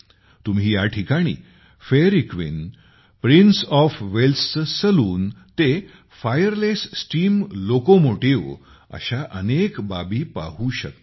तुम्ही या ठिकाणी फेयरी क्वीन प्रिन्स ऑफ वेल्सचे सलून ते फायरलेस स्टीम लोकोमोटिव्ह अशा अनेक बाबी पाहू शकता